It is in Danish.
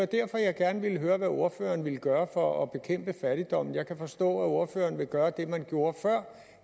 derfor jeg gerne ville høre hvad ordføreren ville gøre for at bekæmpe fattigdommen jeg kan forstå at ordføreren vil gøre det man gjorde før